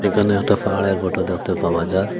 এখানে একটা ফাওয়ারের ফটো দেখতে পাওয়া যার।